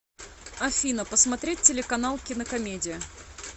афина посмотреть телеканал кинокомедия